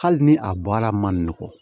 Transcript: Hali ni a bɔla man nɔgɔn